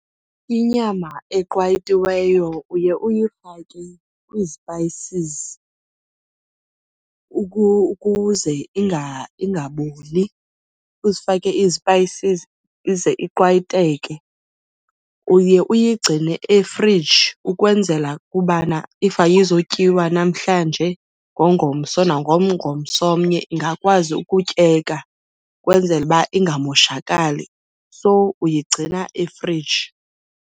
Inyama eqwayitiweyo uye uyifake kwii-spices ukuze ingaboli. Uzifake ii-spices ize iqwayiteke. Uye uyigcine efriji ukwenzela ukubana if ayizotyiwa namhlanje ngengomso nangengomsonye ingakwazi ukutyeka kwenzele uba ingamoshakali. So, uyigcina efriji.